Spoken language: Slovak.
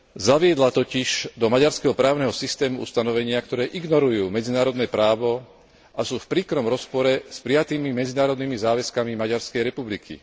Zaviedla totiž do maďarského právneho systému ustanovenia, ktoré ignorujú medzinárodné právo a sú v príkrom rozpore s prijatými medzinárodnými záväzkami Maďarskej republiky.